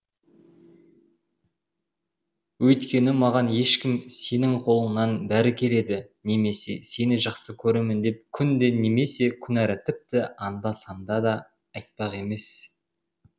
өйіткені маған ешкім сенің қолыңнан бәрі келеді немесе сені жақсы көремін деп күнде немесе күнара тіпті анда санда да айтпақ емес